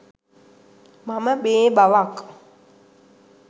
මම මේ බවක්